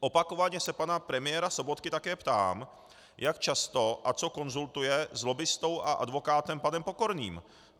Opakovaně se pana premiéra Sobotky také ptám, jak často a co konzultuje s lobbistou a advokátem panem Pokorným.